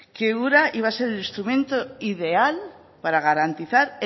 que ura iba a ser el instrumento ideal para garantizar